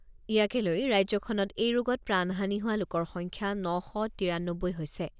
ইয়াকে লৈ ৰাজ্যখনত এই ৰোগত প্ৰাণ হানি হোৱা লোকৰ সংখ্যা ন শ তিয়ানব্বৈ হৈছে।